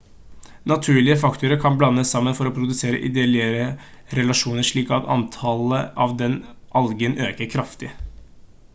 naturlige faktorer kan blandes sammen for å produsere ideelle relasjoner slik at antallet av denne algen øker kraftig